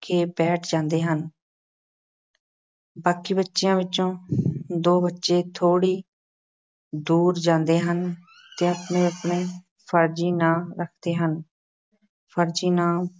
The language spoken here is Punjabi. ਕੇ ਬੈਠ ਜਾਂਦੇ ਹਨ ਬਾਕੀ ਬੱਚਿਆਂ ਵਿੱਚੋਂ ਦੋ ਬੱਚੇ ਥੋੜ੍ਹੀ ਦੂਰ ਜਾਂਦੇ ਹਨ ਅਤੇ ਆਪਣੇ-ਆਪਣੇ ਫ਼ਰਜ਼ੀ ਨਾਂ ਰੱਖਦੇ ਹਨ ਫ਼ਰਜ਼ੀ ਨਾਂ